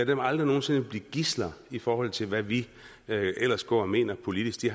dem aldrig nogen sinde blive gidsler i forhold til hvad vi ellers går og mener politisk de